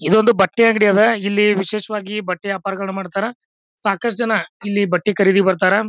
ಇದೊಂದು ಬಟ್ಟೆ ಅಂಗಡಿ ಅದಾ. ಇಲ್ಲಿ ವಿಶೇಷವಾಗಿ ಬಟ್ಟೆ ವ್ಯಾಪಾರ ಮಾಡ್ತಾರ ಸಾಕಷ್ಟು ಜನ ಇಲ್ಲಿ ಬಟ್ಟೆ ಖರೀದಿಗೆ ಬರ್ತಾರಾ.